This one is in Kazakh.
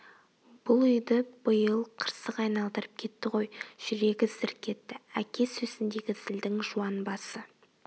бұл үйді биыл қырсық айналдырып кетті ғой жүрегі зірк етті әке сөзіндегі зілдің жуан басы